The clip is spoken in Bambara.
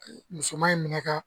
Musoman in minɛ ka